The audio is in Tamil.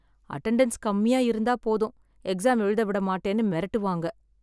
அட்டெண்டன்ஸ் கம்மியா இருந்தா போதும் எக்ஸாம் எழுத விட மாட்டேன்னு மிரட்டு வாங்க